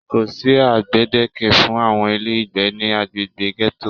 Kò sí gbedeke fún àwọn ilé ìgbé ní agbègbè gẹto.